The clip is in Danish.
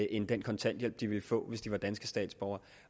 end den kontanthjælp folk ville få hvis de var danske statsborgere